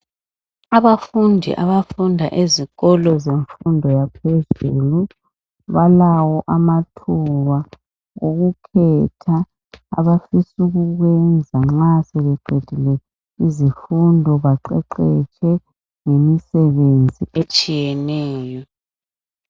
Abafundi abafunda ezikolo zemfundo yaphezulu balawo amathuba okukhetha abafisa ukukwenza nxa sebeqedile izifundo baqeqetshe ngemisebenzi etshiyeneyo.